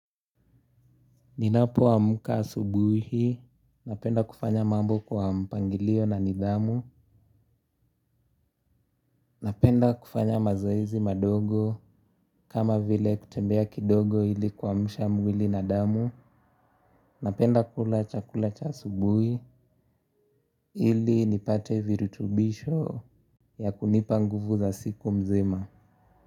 Ninapoaka asubuhi, napenda kufanya mambo kwa mpangilio na nidhamu. Napenda kufanya mazoezi madogo kama vile kutembea kidogo ili kuamsha mwili na damu. Napenda kula chakula cha asubuhi ili nipate virutubisho ya kunipa nguvu za siku mzima.